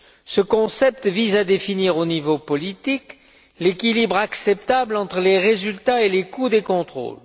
Ce concept vise à définir au niveau politique l'équilibre acceptable entre les résultats et les coûts des contrôles.